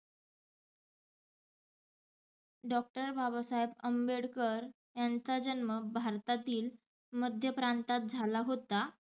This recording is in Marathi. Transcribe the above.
Doctor बाबासाहेब आंबेडकर यांचा जन्म भारतातील मध्य प्रांतात झाला होता.